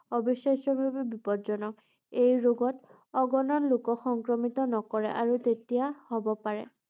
অবিশ্বাস্যভাৱে বিপদজনক ৷ এই ৰোগত অগণন লোক সংক্ৰমিত নকৰে আৰু তেতিয়া হ’ব পাৰে ৷